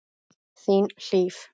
Þín, Hlíf.